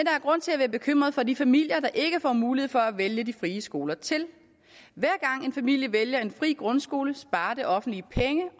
er grund til at være bekymret for de familier der ikke får mulighed for at vælge de frie skoler til hver gang en familie vælger en fri grundskole sparer det offentlige penge